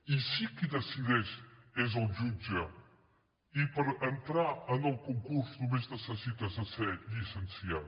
i sí qui decideix és el jutge i per entrar en el concurs només necessites esser llicenciat